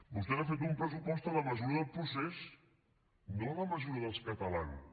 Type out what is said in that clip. vostès han fet un pressupost a la mesura del procés no a la mesura dels catalans